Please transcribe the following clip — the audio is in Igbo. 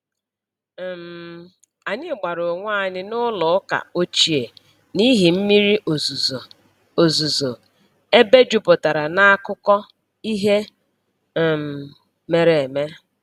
um Anyị gbara onwe anyị n’ụlọ ụka ochie n’ihi mmiri ozuzo ozuzo ebe jupụtara n'akụkọ ihe um mere eme.